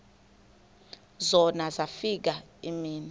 zona zafika iimini